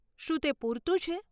શું તે પૂરતું છે?